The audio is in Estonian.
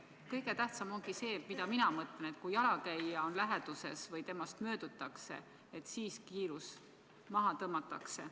Kõige tähtsam ongi see, ma mõtlen, et kui jalakäija on läheduses või temast möödutakse, et siis kiirus maha tõmmatakse.